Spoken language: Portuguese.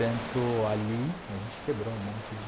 Tanto ali, a gente quebrou um monte de...